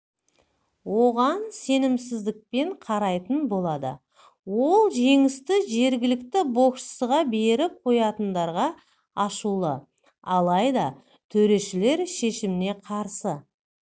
оған сенімсіздікпен қарайтын болады ол жеңісті жергілікті боксшыға беріп қоятындарға ашулы алайда төрешілер шешіміне қарсы